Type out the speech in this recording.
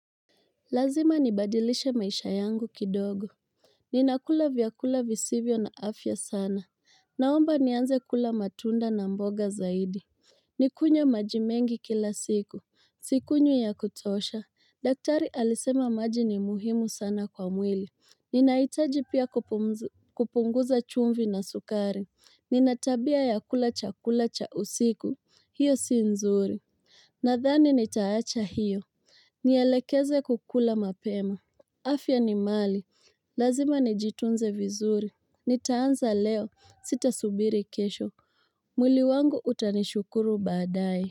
Lazima nibadilishe maisha yangu kidogo Ninakula vyakula visivyo na afya sana Naomba nianze kula matunda na mboga zaidi Nikunywe maji mengi kila siku Sikunywi ya kutosha daktari alisema maji ni muhimu sana kwa mwili Ninahitaji pia kupunguza chumvi na sukari Nina tabia ya kula chakula cha usiku hiyo si nzuri Nadhani nitaacha hiyo Nielekeze kukula mapema afya ni mali, lazima nijitunze vizuri Nitaanza leo, sitasubiri kesho mwili wangu utanishukuru baadae.